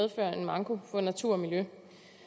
for natur og miljø